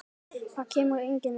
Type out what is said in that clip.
Það kemur engin elding.